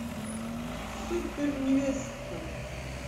суперневестка